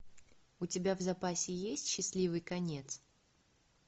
у тебя в запасе есть счастливый конец